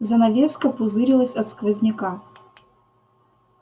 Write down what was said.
занавеска пузырилась от сквозняка